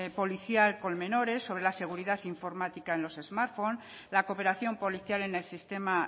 policial con menores sobre la seguridad informática en los smartphone la cooperación policial en el sistema